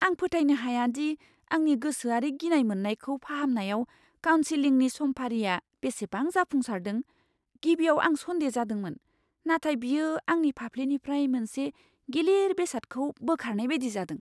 आं फोथायनो हाया दि आंनि गोसोआरि गिनाय मोननायखौ फाहामनायाव काउनसिलिंनि समफारिआ बेसेबां जाफुंसारदों। गिबियाव आं सन्देह जादोंमोन, नाथाय बियो आंनि फाफ्लिनिफ्राय मोनसे गिलिर बेसादखौ बोखारनाय बायदि जादों।